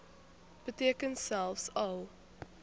beteken selfs al